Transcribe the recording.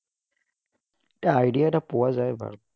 এটা idea এটা পোৱা যায়, বাৰু।